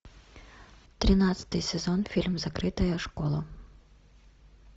тринадцатый сезон фильм закрытая школа